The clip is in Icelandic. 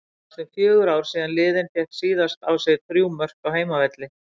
Það eru næstum fjögur ár síðan liðið fékk síðast á sig þrjú mörk á heimavelli.